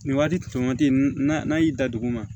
Nin waati tun waati n'a n'a y'i da dugu ma